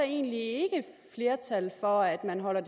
egentlig ikke et flertal for at man holder